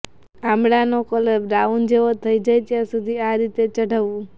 આંબળાંનો colour brown જેવો થઈ જાય ત્યાં સુધી આ રીતે ચઢવવું